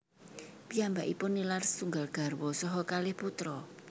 Piyambakipun nilar setunggal garwa saha kalih putra